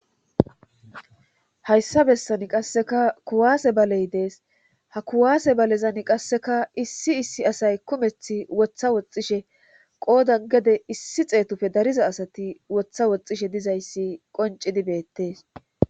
hayssa bessani qasseka kuwaase baley dees ha kuwaase balezan qasseka issi issi asay kumeth wotha woxishe qoodan gede issi xeetufe dariza asati wotha woxxishe dizayssi qoncidibeettees